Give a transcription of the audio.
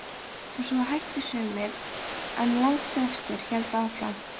Og svo hættu sumir en langflestir héldu áfram.